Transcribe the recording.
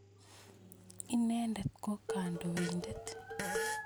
Inendet ko kandoindet